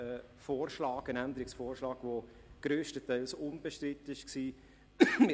Das ist ein Änderungsvorschlag, der grösstenteils unbestritten war.